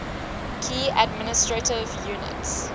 key administrative units